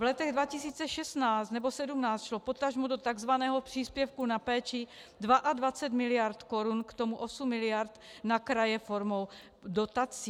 V letech 2016 nebo 2017 šlo potažmo do tzv. příspěvku na péči 22 miliard korun, k tomu 8 miliard na kraje formou dotací.